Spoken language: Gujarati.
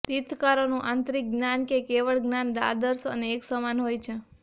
તીર્થંકરોનું આંતરિક જ્ઞાન કે કેવળ જ્ઞાન આદર્શ અને એક સમાન હોય છે